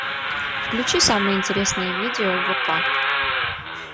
включи самое интересное видео вк